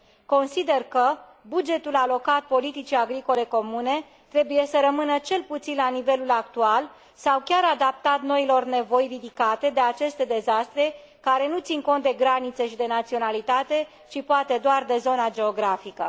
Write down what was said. Consider că bugetul alocat politicii agricole comune trebuie să rămână cel puțin la nivelul actual sau chiar adaptat noilor nevoi ridicate de aceste dezastre, care nu țin cont de granițe și de naționalitate, ci poate doar de zona geografică.